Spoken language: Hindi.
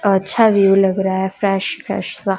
अच्छा विउ लग रहा है फ्रेश फ्रेश सा।